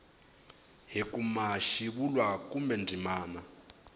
hi kuma xivulwa kumbe ndzimana